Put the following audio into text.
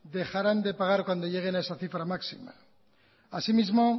dejarán de pagar cuando lleguen a esa cifra máxima así mismo